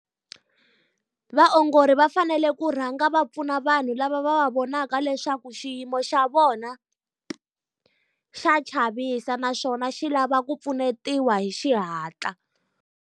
Vaongori va fanele ku rhanga va pfuna vanhu lava va va vonaka leswaku xiyimo xa vona xa chavisa naswona xi lava ku pfunetiwa hi xihatla.